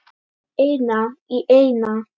Eina í eina.